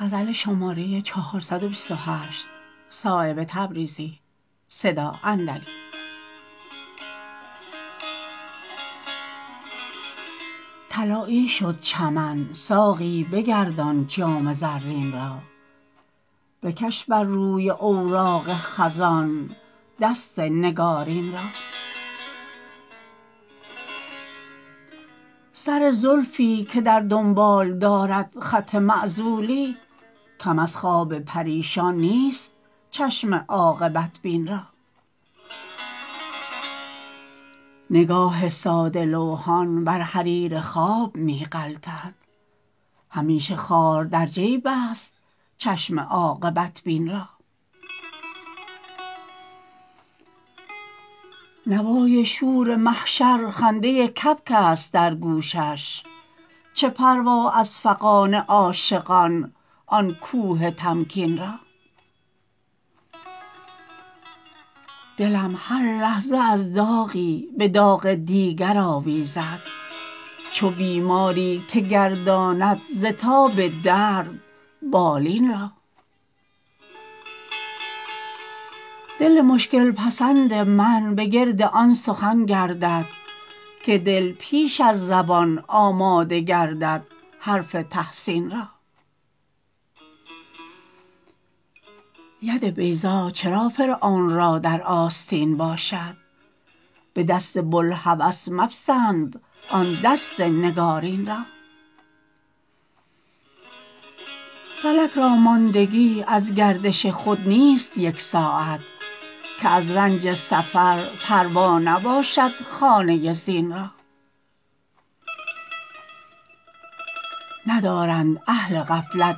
طلایی شد چمن ساقی بگردان جام زرین را بکش بر روی اوراق خزان دست نگارین را سر زلفی که در دنبال دارد خط معزولی کم از خواب پریشان نیست چشم عاقبت بین را نگاه ساده لوحان بر حریر خواب می غلطد همیشه خار در جیب است چشم عاقبت بین را نوای شور محشر خنده کبک است در گوشش چه پروا از فغان عاشقان آن کوه تمکین را دلم هر لحظه از داغی به داغ دیگر آویزد چو بیماری که گرداند ز تاب درد بالین را دل مشکل پسند من به گرد آن سخن گردد که دل پیش از زبان آماده گردد حرف تحسین را ید بیضا چرا فرعون را در آستین باشد به دست بوالهوس مپسند آن دست نگارین را فلک را ماندگی از گردش خود نیست یک ساعت که از رنج سفر پروا نباشد خانه زین را ندارند اهل غفلت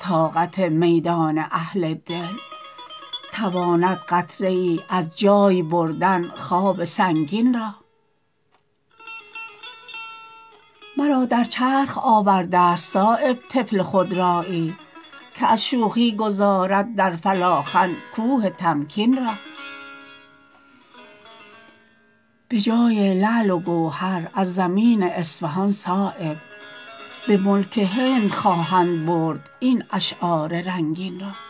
طاقت میدان اهل دل تواند قطره ای از جای بردن خواب سنگین را مرا در چرخ آورده است صایب طفل خودرایی که از شوخی گذارد در فلاخن کوه تمکین را به جای لعل و گوهر از زمین اصفهان صایب به ملک هند خواهد برد این اشعار رنگین را